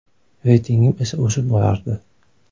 Reytingim esa o‘sib borardi.